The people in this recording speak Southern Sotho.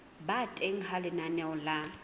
ba teng ha lenaneo la